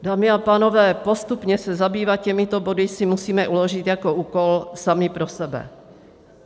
Dámy a pánové, postupně se zabývat těmito body si musíme uložit jako úkol sami pro sebe.